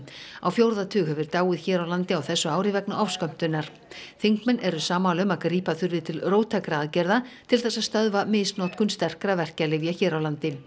á fjórða tug hefur dáið hér á landi á þessu ári vegna ofskömmtunar þingmenn eru sammála um að grípa þurfi til róttækra aðgerða til þess að stöðva misnotkun sterkra verkjalyfja hér á landi